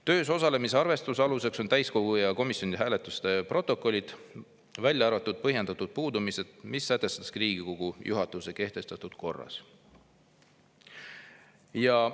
Töös osalemise arvestuse aluseks on täiskogu ja komisjonide hääletuste protokollid, välja arvatud põhjendatud puudumised, mis sätestatakse Riigikogu juhatuse kehtestatud korras.